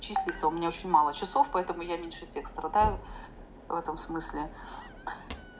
числится у меня очень мало часов поэтому я меньше всех страдаю в этом смысле